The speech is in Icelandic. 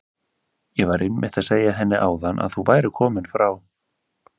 Ég var einmitt að segja henni áðan að þú værir kominn frá